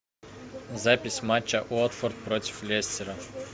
запись матча уотфорд против лестера